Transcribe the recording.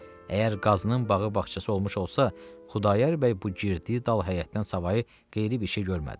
Əgər Qazının bağı, bağçası olmuş olsa, Xudayar bəy bu girdiyi dal həyətdən savayı qeyri bir şey görmədi.